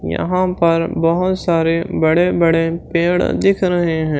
यहां पर बहुत सारे बड़े बड़े पेड़ दिख रहे हैं।